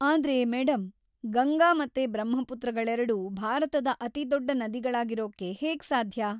ಆದ್ರೆ ಮೇಡಂ, ಗಂಗಾ ಮತ್ತೆ ಬ್ರಹ್ಮಪುತ್ರಗಳೆರ್ಡೂ ಭಾರತದ ಅತಿದೊಡ್ಡ ನದಿಗಳಾಗಿರೊಕ್ಕೆ ಹೇಗೆ ಸಾಧ್ಯ?